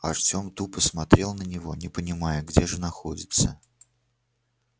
артем тупо смотрел на него не понимая где же находится